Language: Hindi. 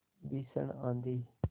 भीषण आँधी